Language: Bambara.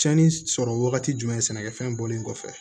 Cɛnni sɔrɔ wagati jumɛn sɛnɛkɛfɛn bɔlen kɔfɛ